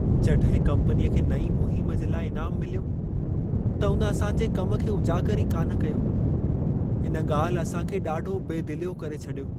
जॾहिं कम्पनीअ खे नईं मुहिम जे लाइ इनामु मिल्यो, त उन असांजे कम खे उजागरु ई कान कयो। इन ॻाल्हि असां खे ॾाढो बेदिलियो करे छॾियो।